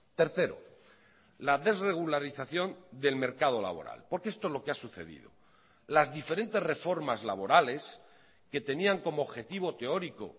tercero la desregularización del mercado laboral porque esto es lo que ha sucedido las diferentes reformas laborales que tenían como objetivo teórico